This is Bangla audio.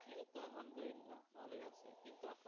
এই তো আহম দুল্লাহ ভালোই আছে কিন্তু আপু